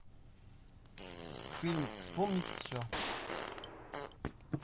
фильм вспомнить все